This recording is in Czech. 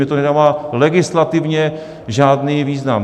Mně to nedává legislativně žádný význam.